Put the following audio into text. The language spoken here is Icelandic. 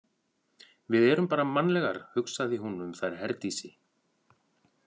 Við erum bara mannlegar, hugsaði hún um þær Herdísi.